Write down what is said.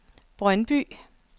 Brøndby